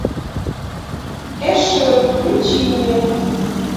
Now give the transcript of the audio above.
эшер включи мне